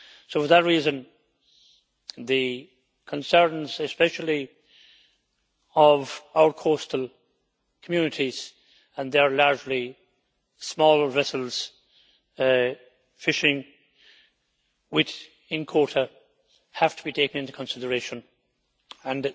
For that reason the concerns, especially, of our coastal communities and their mainly small vessels fishing within quota, have to be taken into consideration, and